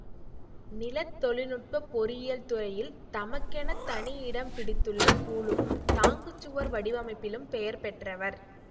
நிலத்தொழில்நுட்பப் பொறியியல் துறையில் தமக்கெனத் தனி இடம் பிடித்துள்ள கூலும் தாங்குச் சுவர் வடிவமைப்பிலும் பெயர்பெற்றவர்